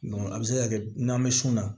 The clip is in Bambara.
a bɛ se ka kɛ n'an bɛ sun na